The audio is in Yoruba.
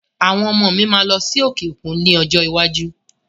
Àwọn ọmọ mi máa lọ sí òkè òkú ní ọjọ́ iwájú